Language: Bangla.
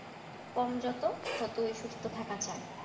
কম যত ততই সুস্থ থাকা যায়,